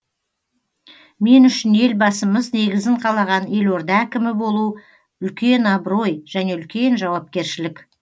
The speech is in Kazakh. мен үшін елбасымыз негізін қалаған елорда әкімі болу үлкен абырой және үлкен жауапкершілік